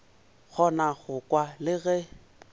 kgona go kwa le ge